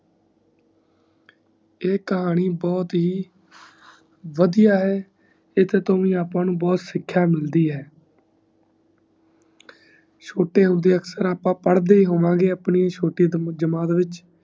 ਈ ਕਹਾਣੀ ਬਹੁਤ ਹੀ ਵੜਿਆ ਹੈ ਇਸੇ ਤੋਂ ਅੱਪਾ ਨੂੰ ਬਹੁਤ ਸਿਖ੍ਯ ਮਿਲਦੀ ਹੈ ਛੋਟੇ ਹੁੰਦੇ ਅਕਸਰ ਅੱਪਾ ਪਾੜੇ ਹੋਣਗੇ ਛੋਟੀ ਜਮਾਤ ਵਿਚ